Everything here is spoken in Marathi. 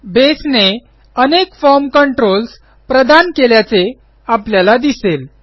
बेसने अनेक फॉर्म कंट्रोल्स प्रदान केल्याचे आपल्याला दिसेल